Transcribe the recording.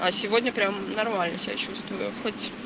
а сегодня прямо нормально себя чувствую хоть